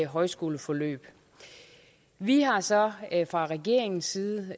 højskoleforløb vi har så fra regeringens side